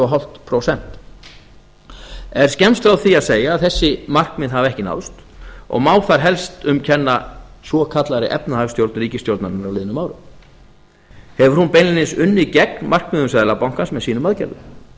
hálft prósent er skemmst frá því að segja að þessi markmið hafa ekki náðst og má þar helst um kenna svokallaðri efnahagsstjórn ríkisstjórnarinnar á liðnum árum hefur hún beinlínis unnið gegn markmiðum seðlabankans með sínum aðgerðum